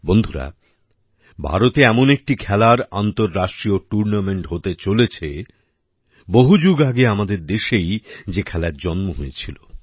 বন্ধুরা ভারতে এমন একটি খেলার আন্তর্রাষ্ট্রীয় টুর্নামেন্ট হতে চলেছে বহু যুগ আগে আমাদের দেশেই যে খেলার জন্ম হয়েছিল